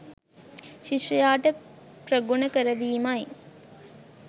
ශිෂ්‍යයාට ප්‍රගුණ කරවීමයි.